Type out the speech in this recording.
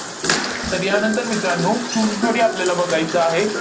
तर यानंतर मित्रांनो, चुनखडी आपल्याला बघायचं आहे.